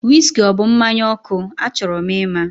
Wiski ọ bụ mmanya ọkụ? Achọrọ m ima